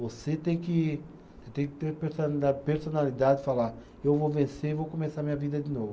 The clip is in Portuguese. Você tem que, tem que ter a personalidade, personalidade de falar, eu vou vencer e vou começar a minha vida de novo.